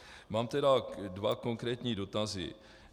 Mám tedy dva konkrétní dotazy.